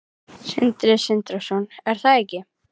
Sindri Sindrason: Er það ekki?